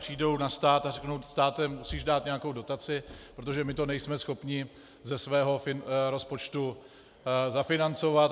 Přijdou na stát a řeknou: Státe, musíš dát nějakou dotaci, protože my to nejsme schopni ze svého rozpočtu zafinancovat.